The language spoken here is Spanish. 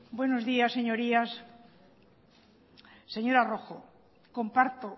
buenos días señorías señora rojo comparto